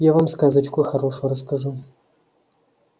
я вам сказочку хорошую расскажу